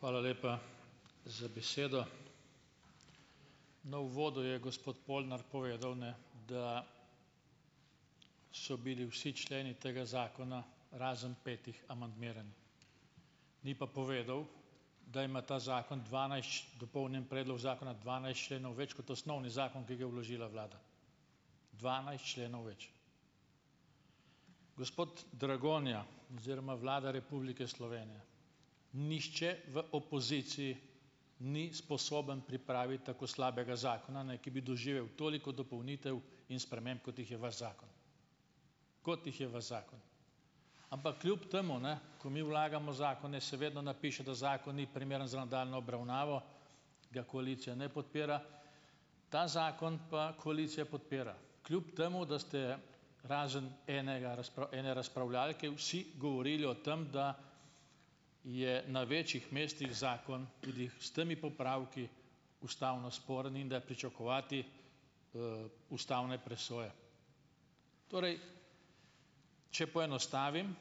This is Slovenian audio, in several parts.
Hvala lepa za besedo. Na uvodu je gospod Polnar povedal, ne, da so bili vsi členi tega zakona razen petih amandmiranih, ni pa povedal, da ima ta zakon dopolnjen predlog zakona dvanajst členov več kot osnovni zakon, ki ga je vložila vlada, dvanajst členov več. Gospod Dragonja oziroma Vlada Republike Slovenije, nihče v opoziciji ni sposoben pripraviti tako slabega zakona, ki bi doživel toliko dopolnitev in sprememb, kot jih je vaš zakon, kot jih je vaš zakon, ampak kljub temu, ne, ko mi vlagamo zakone, seveda napiše, da zakon ni primeren za nadaljnjo obravnavo, ga koalicija ne podpira, ta zakon pa koalicija podpira, kljub temu da ste razen enega ene razpravljavke vsi govorili o tem, da je na večjih mestih zakon tudi s temi popravki ustavno sporen in da je pričakovati ustavne presoje, torej če poenostavim,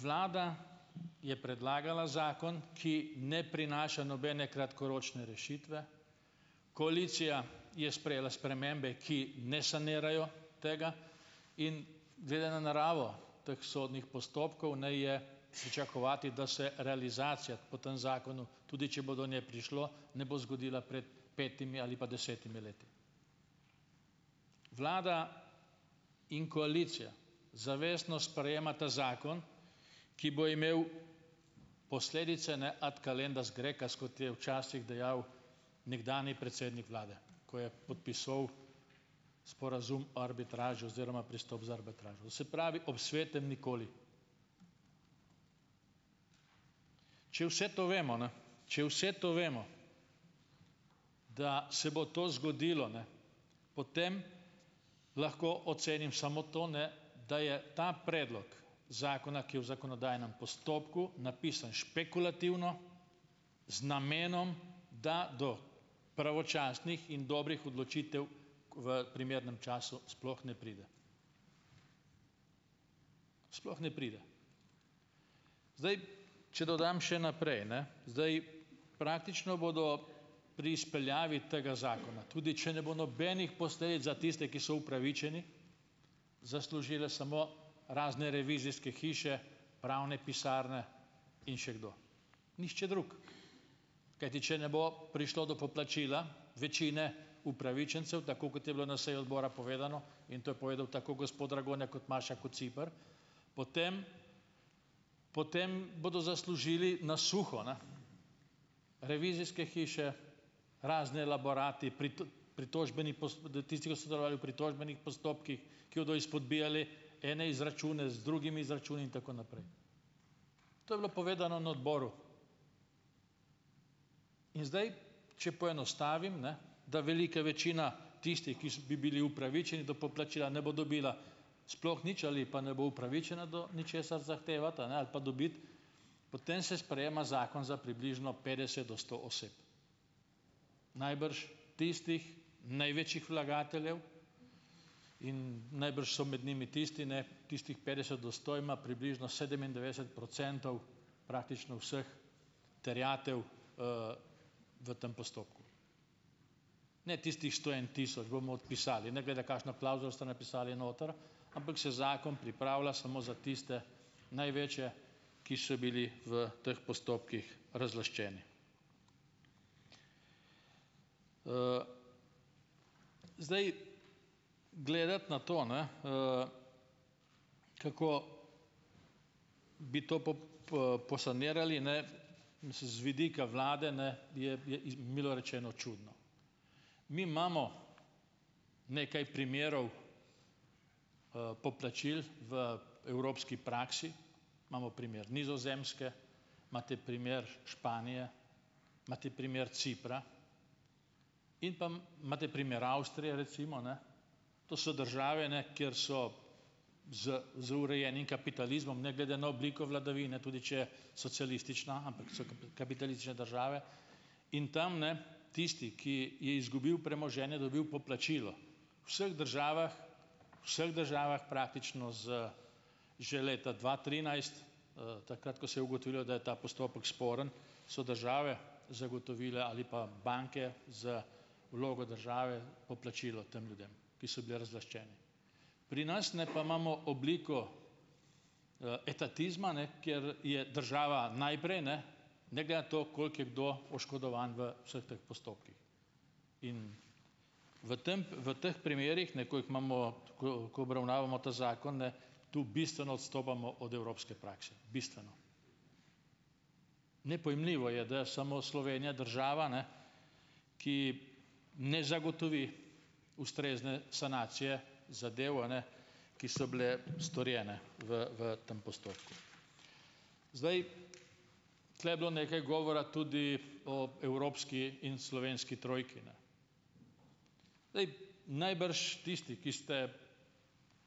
vlada je predlagala zakon, ki ne prinaša nobene kratkoročne rešitve, koalicija je sprejela spremembe, ki ne sanirajo tega, in glede na naravo teh sodnih postopkov, ne, je pričakovati, da se realizacija po tem zakonu, tudi če bo do nje prišlo, ne bo zgodila pred petimi ali pa desetimi leti. Vlada in koalicija zavestno sprejemate zakon, ki bo imel posledice ad calendas graecas, kot je včasih dejal nekdanji predsednik vlade, kot je podpisoval sporazum o arbitraži oziroma pristop za arbitražo, vse pravi ob svetem nikoli, če vse to vemo, ne, če vse to vemo, da se bo to zgodilo, ne, potem lahko ocenim samo to, ne, da je ta predlog zakona, ki je v zakonodajnem postopku napisan špekulativno z namenom, da do pravočasnih in dobrih odločitev v primernem času sploh ne pride, sploh ne pride, zdaj, če dodam še naprej, ne, zdaj, praktično bodo pri izpeljavi tega zakona, tudi če ne bo nobenih posledic za tiste, ki so upravičeni, zaslužile samo razne revizijske hiše, pravne pisarne in še kdo, nihče drug, kajti če ne bo prišlo do poplačila večine upravičencev, tako kot je bilo na seji odbora povedano, in to je povedal tako gospod Dragonja kot Maša Kociper, potem potem bodo zaslužili na suho, ne, revizijske hiše, razni elaborati pritožbeni da tisti, ki so zavarovali pritožbenih postopkih, ki bodo izpodbijali ene izračune z drugimi izračuni in tako naprej, to je bilo povedano na odboru, in zdaj, če poenostavim, ne, da velika večina tistih, ki bi bili upravičeni do poplačila, ne bo dobila sploh nič ali pa ne bo upravičena do ničesar zahtevati, a ne, ali pa dobiti, potem se sprejema zakon za približno petdeset do sto oseb, najbrž tistih največjih vlagateljev, in najbrž do med njimi tisti, ne, tistih petdeset do sto ima približno sedemindevetdeset procentov praktično vseh terjatev v tem postopku, ne, tistih sto en tisoč bomo odpisali, ne glede kakšno klavzulo boste napisali noter, ampak se zakon pripravlja samo za tiste največje, ki so bili v teh postopkih razlaščeni. Zdaj, gledati na to, ne, kako bi to posanirali, ne, mislim z vidika vlade, ne, je je milo rečeno čudno, mi imamo nekaj primerov poplačil v evropski praksi, imamo primer Nizozemske, imate primer Španije, imate primer Cipra, in pa imate primer Avstrije recimo, ne, to so države, ne, kjer so z z urejenim kapitalizmom ne glede na obliko vladavine, tudi če socialistična, ampak so kapitalistične države, in tam, ne, tisti, ki je izgubil premoženje, je dobil poplačilo, sh državah, vseh državah praktično z že leta dva trinajst, takrat ko se je ugotovila, da je ta postopek sporen, so države zagotovile ali pa banke z vlogo države poplačilo tem ljudem, ki so bili razlaščeni, pri nas, ne, pa imamo obliko etatizma ne, kjer je država najprej, ne, ne glede na to, koliko je kdo oškodovan v vseh teh postopkih, v tam v teh primerih, ne, ko jih imamo, tako kot obravnavamo ta zakon, ne, tu bistveno odstopamo od evropske prakse, ne, bistveno, nepojmljivo je, da samo Slovenija država, ne, ki ne zagotovi ustrezne sanacije zadev, a ne, ki so bile storjene v v tem postopku, zdaj, tule je bilo nekaj govora tudi o evropski in slovenski trojki, ne, ej, najbrž tisti, ki ste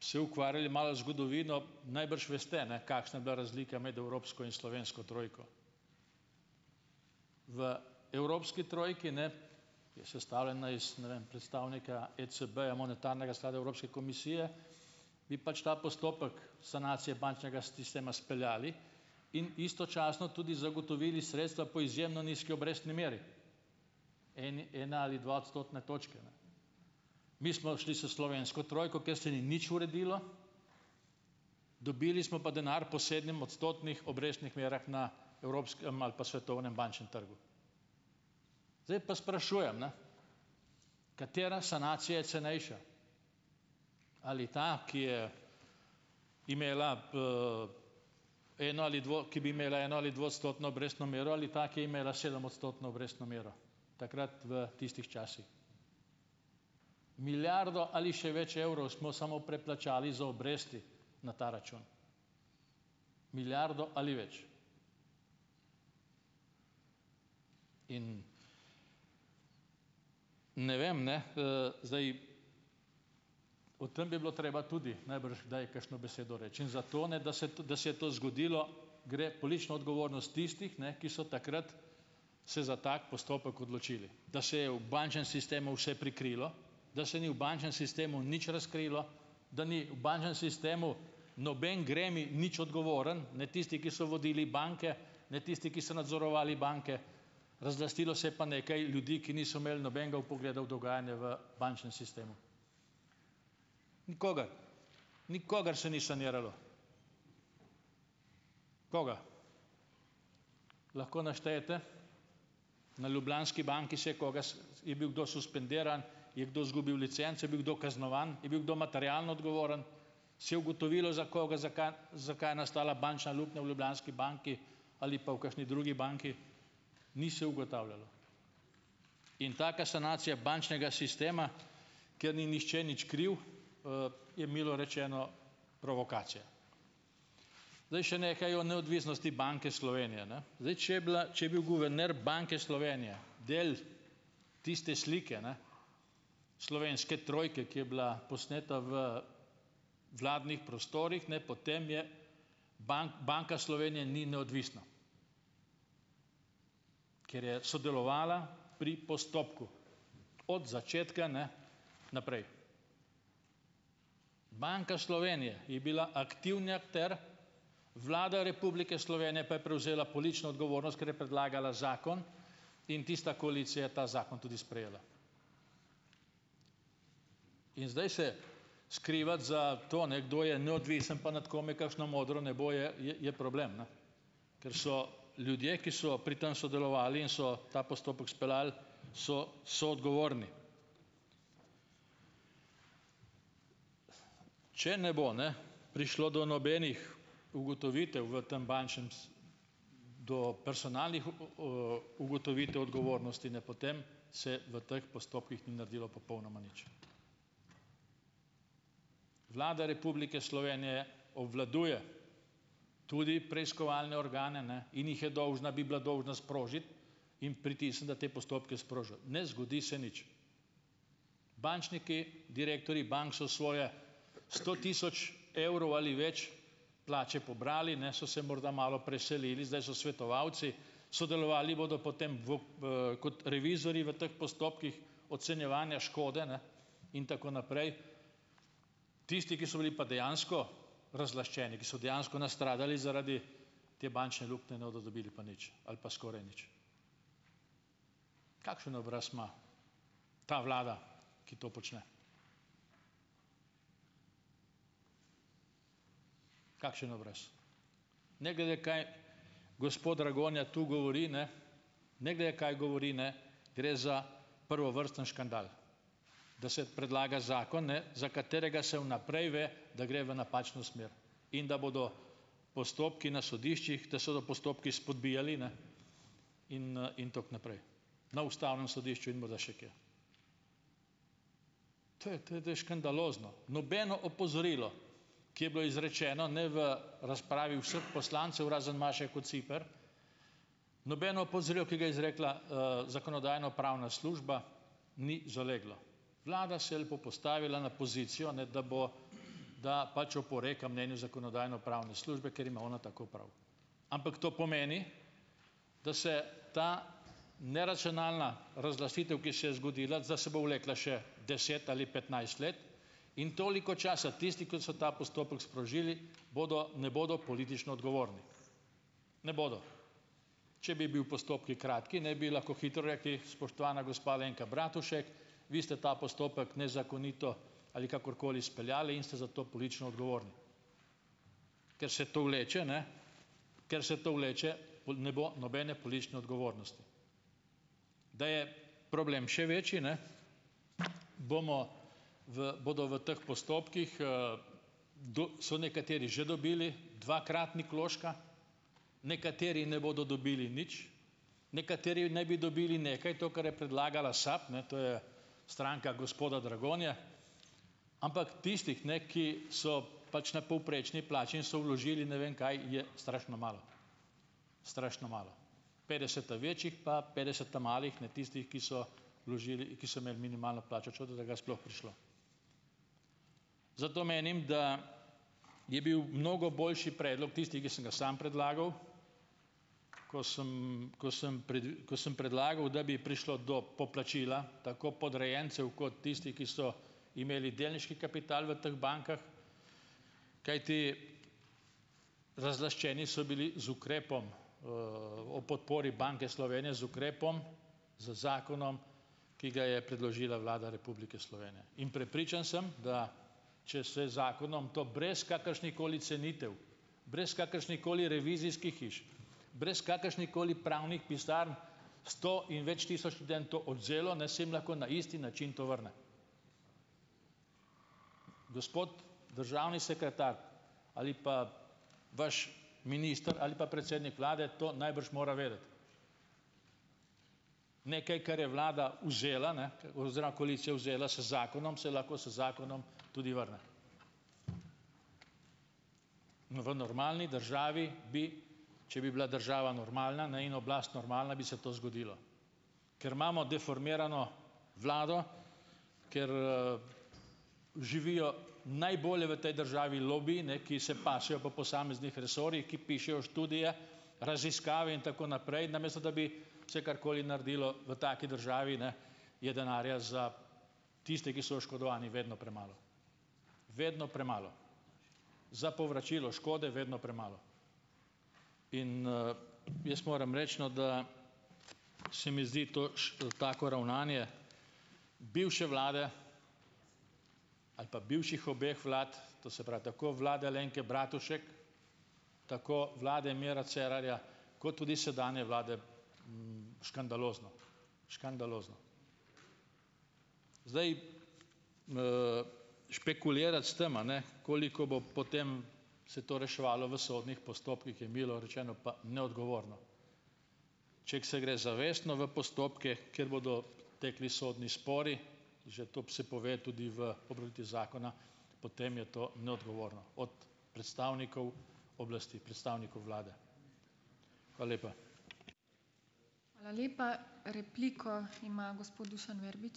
se ukvarjali malo zgodovino, najbrž veste, ne, kakšna je bila razlika med evropsko in slovensko trojko, v evropski trojki, ne, je sestavljena iz, ne vem, predstavnika ECB-ja, monetarnega sklada, Evropske komisije, bi pač ta postopek v sanacije bančnega sistema speljali in istočasno tudi zagotovili sredstva po izjemno nizki obrestni meri in ena ali dva odstotna točka. Mi smo šli s slovensko trojko, ker se ni nič uredilo, dobili smo pa denar v posebnem odstotnih obrestnih merah na evropskem ali pa svetovnem bančnem trgu, zdaj pa sprašujem, ne, katera sanacija je cenejša, ali ta, ki je imela eno- ali dvo-, ki bi imela eno- ali dvoodstotno obrestno mero, ali da, ki je imela sedemodstotno obrestno mero takrat v tistih časih. Milijardo ali še več evrov smo samo preplačali za obresti na ta račun, milijardo ali več, ne vem, ne, zdaj, o tem bi bilo treba tudi najbrž kdaj kakšno besedo reči in zato, ne, da se da se je to zgodilo, gre politična odgovornost tistih, ne, ki so takrat se za tako postopek odločili, da se je v bančnem sistemu vse prikrilo, da se ni v bančnem sistemu nič razkrilo, da ni bančnem sistemu noben gremij nič odgovoren, ne, tisti, ki so vodili banke, ne, tisti, ki so nadzorovali banke, razlastilo se je pa nekaj ljudi, ki niso imeli nobenega vpogleda v dogajanje v bančnem sistemu, nikogar, nikogar se ni saniralo, Koga lahko naštejete na Ljubljanski banki, se je koga, je bil kdo suspendiran, je kdo zgubil licenco, je bil kdo kaznovan, je bil kdo materialno odgovoren, se je ugotovilo, za koga, za kaj, zakaj je nastala bančna luknja v Ljubljanski banki ali pa v kakšni drugi banki? Ni se ugotavljalo in taka sanacija bančnega sistema, kjer ni nihče nič kriv, je milo rečeno provokacija. Zdaj še nekaj o neodvisnosti Banke Slovenije, ne, zdaj, če je bila, če je bil guverner Banke Slovenije del tiste slike, ne, slovenske trojke, ki je bila posneta v vladnih prostorih, ne, potem je Banka Slovenije ni neodvisna, ker je sodelovala pri postopku od začetka, ne, naprej. Banka Slovenije je bila aktivna ter Vlada Republike Slovenije pa je prevzela politično odgovornost, ker je predlagala zakon, in tista koalicija je seveda ta zakon tudi sprejela, in zdaj se skrivati za to, ne, kdo je neodvisen pa nad kom je kakšno modro nebo, je, je problem, ne, ker so ljudje, ki so pri tem sodelovali in so ta postopek speljali, so soodgovorni, če ne bo ne prišlo do nobenih ugotovitev v tem bančnem do personalnih o ugotovitev odgovornosti, ne, potem se v teh postopkih ni naredilo popolnoma nič. Vlada Republike Slovenije obvladuje tudi preiskovalne organe, ne, in jih je dolžna bi bila dolžna sprožiti in pritisniti na te postopke sprožili, ne zgodi se nič, bančniki, direktorji bank so svoje sto tisoč evrov ali več plače pobrali, ne, so se morda malo preselili, zdaj so svetovalci, sodelovali bodo potem vu kot revizorji v teh postopkih ocenjevanja škode, ne, in tako naprej. Tisti, ki so bili pa dejansko razlaščeni, ki so dejansko nastradali zaradi te bančne luknje, ne bodo dobili pa nič ali pa skoraj nič. Kakšen obraz ima ta vlada, ki to počne, kakšen obraz, ne glede kaj gospod Dragonja tu govori, ne, ne glede kaj govori, ne, gre za prvovrstni škandal, da se predlaga zakon, ne, za katerega se v naprej ve, da gre v napačno smer in da bodo postopki na sodiščih, da se bodo postopki spodbijali, ne, in in tako naprej na ustavnem sodišču in morda še kje. To je, to je škandalozno, nobeno opozorilo, ki je bilo izrečeno, ne, v razpravi vseh poslancev razen Maše Kociper, nobeno opozorilo, ki ga je izrekla zakonodajno-pravna služba, ni zaleglo, vlada se je lepo postavila na pozicijo, da bo da pač oporeka mnenju zakonodajno-pravne službe, ker ima ona tako prav, ampak to pomeni, da se ta neracionalna razglasitev, ki se je zgodila, da se vlekla še deset ali petnajst let, in toliko časa tisti, ki so ta postopek sprožili, bodo, ne, bodo politično odgovorni, ne bodo, če bi bili postopki kratki, ne, bi lahko hitro rekli: "Spoštovana gospa Alenka Bratušek, vi ste ta postopek nezakonito ali kakorkoli speljali in ste za to politično odgovorni." Ker se to vleče, ne, ker se to vleče, pol ne bo nobene politične odgovornosti, da je problem še večji, ne, bomo v bodo v teh postopkih do so nekateri že dobili dvakratnik vložka, nekateri ne bodo dobili nič, nekateri naj bi dobili nekaj, to, kar je predlagala SAB, ne, to je stranka gospoda Dragonje, ampak tistih, ne, ki so pač na povprečni plači in so vložili ne vem kaj, je strašno malo, strašno malo, petdeset ta večjih pa petdeset ta malih, ne, tistih, ki so vložili, ki so imeli minimalno plačo, čudno, da ga je sploh prišlo. Zato menim, da je bil mnogo boljši predlog tisti, ki sem ga sam predlagal, ko sem ko sem ko sem predlagal, da bi prišlo do poplačila tako podrejencev kot tistih, ki so imeli delniški kapital v teh bankah, kajti razlaščeni so bili z ukrepom o podpori Banke Slovenije z ukrepom, z zakonom, ki ga je predložila Vlada Republike Slovenije, in prepričan sem, da če se zakonom to brez kakršnekoli cenitev, brez kakršnihkoli revizijskih hiš, brez kakršnihkoli pravnih pisarn sto in več tisoč študentov odvzelo, ne, se jim lahko na isti način to vrne. Gospod državni sekretar ali pa vaš minister ali pa predsednik vlade to najbrž mora vedeti. Nekaj, kar je vlada vzela, ne, oziroma koalicija vzela, se zakonom saj lahko se zakonom tudi vrne, no, v normalni državi bi, če bi bila država normalna, ne, in oblast normalna, bi se to zgodilo, ker imamo deformirano vlado, ker živijo najbolje v tej državi lobiji, ne, ki se pasejo po posameznih resorjih, ki pišejo študije, raziskave in tako naprej, namesto da bi se karkoli naredilo, v taki državi, ne, je denarja za tiste, ki so oškodovani, vedno premalo, vedno premalo, za povračilo škode vedno premalo, in jaz moram reči, no, da se mi zdi toš tako ravnanje bivše vlade ali pa bivših obeh vlad, to se pravi tako vlade Alenke Bratušek tako vlade Mira Cerarja kot tudi sedanje vlade, škandalozno, škandalozno, zdaj špekulirati s tem, a ne, koliko bo potem, se to reševalo v sodnih postopkih, je milo rečeno pa neodgovorno, če se gre zavestno v postopke, kjer bodo tekli sodni spori. Že to se pove tudi v popravitvi zakona, potem je to neodgovorno od predstavnikov oblasti, predstavnikov vlade. Hvala lepa.